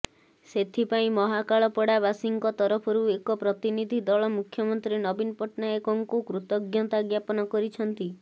ସେଥିପାଇଁ ମହାକାଳପଡ଼ାବାସୀଙ୍କ ତରଫରୁ ଏକ ପ୍ରତିନିଧି ଦଳ ମୁଖ୍ୟମନ୍ତ୍ରୀ ନବୀନ ପଟ୍ଟନାୟକଙ୍କୁ କୃତଜ୍ଞତା ଜ୍ଞାପନ କରିଛନ୍ତି